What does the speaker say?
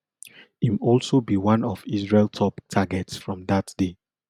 im also be one of israel top targets from dat day